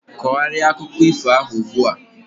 kogharịa akụkọ ifo ahu ugbu a!